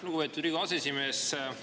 Lugupeetud Riigikogu aseesimees!